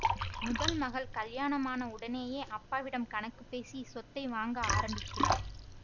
முதல் மகள் கல்யாணமான உடனேயே அப்பாவிடம் கணக்கு பேசி சொத்தை வாங்க ஆரம்பிக்கிறாள்